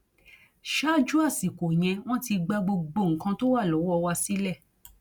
ṣáájú àsìkò yẹn wọn ti gba gbogbo nǹkan tó wà lọwọ wa sílẹ